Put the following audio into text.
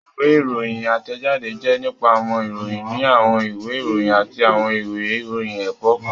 Ìwé ìròyìn átẹ̀jáde jẹ́ nípa àwọn ìròyìn ní àwọn ìwé ìròyìn àti àwọn ìwé ìròyìn ẹ̀kọ́ kan